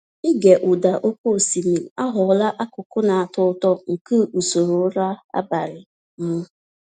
Ịge ụda oke osimiri aghọla akụkụ na-atọ ụtọ nke usoro ụra abalị m.